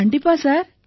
கண்டிப்பா சார்